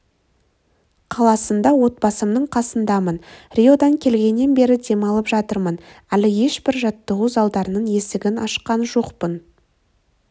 қаласында отбасымның қасындамын риодан келгеннен бері демалып жатырмын әлі ешбір жаттығу залдарының есігін ашқан жоқпын